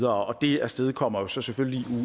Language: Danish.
og det afstedkommer jo så selvfølgelig